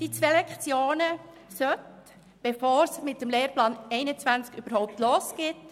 Die zwei Lektionen sollen gestrichen werden, bevor es mit dem Lehrplan 21 überhaupt losgeht.